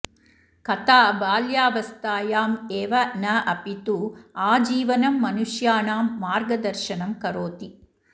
कथा बाल्यावस्थायाम् एव न अपि तु आजीवनं मनुष्याणां मार्गदर्शनं करोति